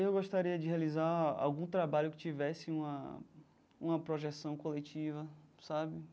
Eu gostaria de realizar algum trabalho que tivesse uma uma projeção coletiva, sabe?